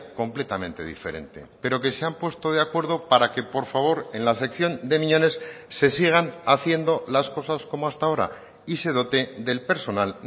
completamente diferente pero que se han puesto de acuerdo para que por favor en la sección de miñones se sigan haciendo las cosas como hasta ahora y se dote del personal